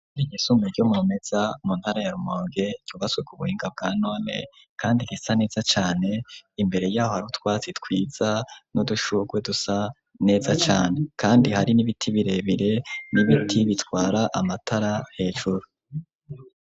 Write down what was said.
Ishure ryisumbuye ryo mu Rumeza mu ntara ya Rumonge ryubatswe ku buhinga bwa none kandi risa neza cane, imbere yaho harutwatsi twiza n'udushurwe dusa neza cane, kandi hari n'ibiti birebire n'ibiti bitwara amatara hejuru.